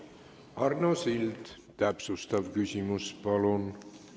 Arno Sild, täpsustav küsimus, palun!